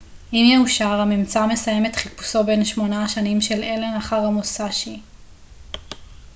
אם יאושר הממצא מסיים את חיפושו בן שמונה השנים של אלן אחר המוסאשי